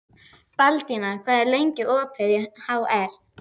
Baldína, hvað er lengi opið í HR?